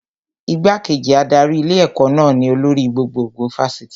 Igbá-kejì adarí ilé ẹ̀kọ́ náà ni olórí gbogbogbò Fásitì